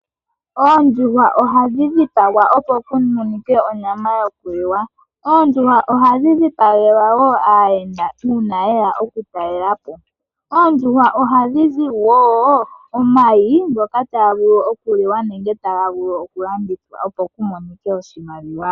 Oondjuhwa ohadhi dhipagwa opo ku monike onyama yoku liwa. Oondjuhwa ohadhi dhipagelwa woo aayenda uuna ye ya oku talelapo. Oondjuhwa ohadhi zi woo omayi ngoka taga vulu oku liwa nenge taga vulu oku landithwa opo ku monike oshimaliwa.